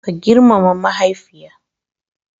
Ka girmama mahaifiya.